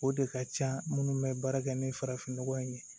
O de ka ca minnu bɛ baara kɛ ni farafin nɔgɔ ye